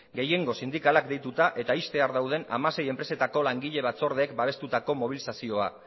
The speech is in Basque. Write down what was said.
gehiengo sindikalak deituta eta ixtear dauden hamasei enpresetako langile batzordeek babestutako mobilizazioa